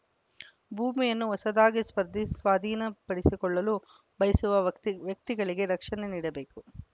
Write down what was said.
ಭೂಮಿಯನ್ನು ಹೊಸದಾಗಿ ಸ್ವಾದಿಸ್ ಸ್ವಾಧೀನಪಡಿಸಿಕೊಳ್ಳಲು ಬಯಸುವ ವಕ್ತಿ ವ್ಯಕ್ತಿಗಳಿಗೆ ರಕ್ಷಣೆ ನೀಡಬೇಕು